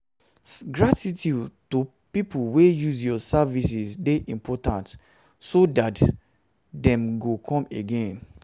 gratitude to pipo wey use your services de important so that um dem go come again